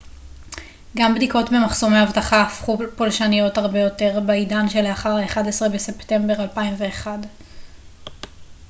גם בדיקות במחסומי אבטחה הפכו פולשניות הרבה יותר בעידן שלאחר ה-11 בספטמבר 2001